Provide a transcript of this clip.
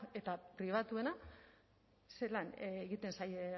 eta pribatuena zelan egiten zaie